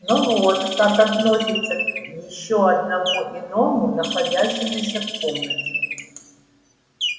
но вот как относиться к ещё одному иному находящемуся в комнате